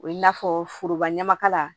O ye i n'a fɔ foroba ɲamakala